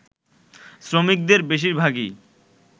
শ্রমিকদের বেশিরভাগই